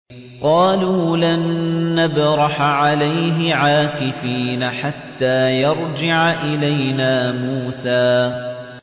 قَالُوا لَن نَّبْرَحَ عَلَيْهِ عَاكِفِينَ حَتَّىٰ يَرْجِعَ إِلَيْنَا مُوسَىٰ